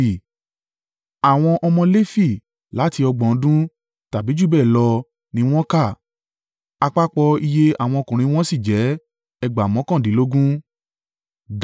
Àwọn ọmọ Lefi láti ọgbọ̀n ọdún tàbí jù bẹ́ẹ̀ lọ ni wọ́n kà àpapọ̀ iye àwọn ọkùnrin wọn sì jẹ́ ẹgbàá mọ́kàndínlógún (38,000).